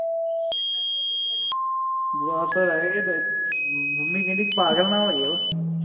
ਬਸ ਰਹਿ ਗਏ ਮੰਮੀ ਕਹਿੰਦੀ ਪਾਗਲ ਨਾ ਹੋ ਜਾਯੋ